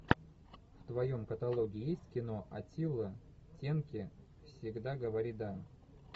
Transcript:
в твоем каталоге есть кино аттила тенки всегда говори да